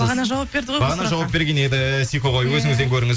бағана жауап берді бағана жауап берген еді сикоғой өзіңізден көріңіз